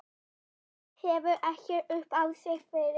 Það hefur ekkert upp á sig fyrir þig.